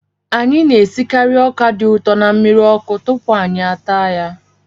Anyị na-esikarị ọka dị ụtọ na mmiri ọkụ tupu anyị taa ya